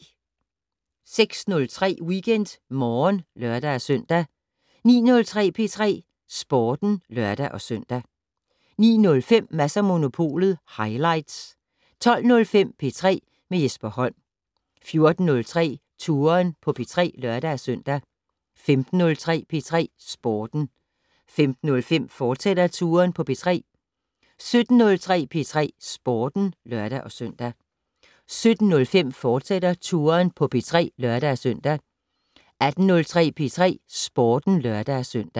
06:03: WeekendMorgen (lør-søn) 09:03: P3 Sporten (lør-søn) 09:05: Mads & Monopolet highlights 12:05: P3 med Jesper Holm 14:03: Touren på P3 (lør-søn) 15:03: P3 Sporten 15:05: Touren på P3, fortsat 17:03: P3 Sporten (lør-søn) 17:05: Touren på P3, fortsat (lør-søn) 18:03: P3 Sporten (lør-søn)